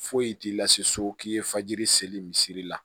Foyi t'i la se so k'i ye fajiri seli misiri la